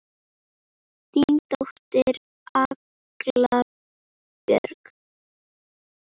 Þín dóttir, Agla Björk.